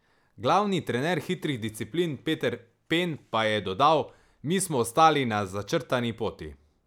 Glavni trener hitrih disciplin Peter Pen pa je dodal: "Mi smo ostali na začrtani poti.